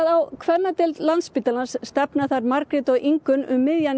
á kvennadeildina stefna þær Margrét og Ingunn um miðjan